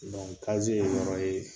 kaziye ye yɔrɔ ye